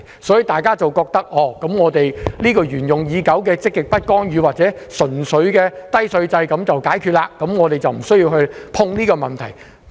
所以，大家都認為繼續沿用實行已久的積極不干預政策或低稅制便可以解決問題，不需要觸碰稅務這個議題。